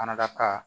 A fana ka